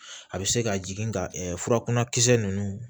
A bɛ se ka jigin ka furakunnakisɛ ninnu